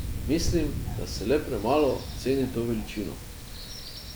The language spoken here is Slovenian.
Mislim, da se le premalo ceni to veličino.